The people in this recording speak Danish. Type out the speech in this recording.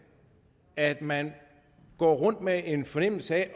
er at man går rundt med en følelse af